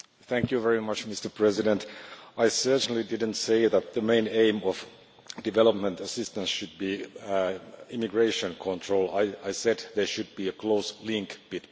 Mr President, I certainly did not say that the main aim of development assistance should be immigration control. I said there should be a close link between the two.